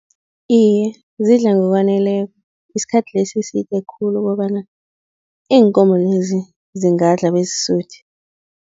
Iye, zidla ngokwaneleko, isikhathi lesi side khulu kobana iinkomo-lezi zingadla bezisuthe.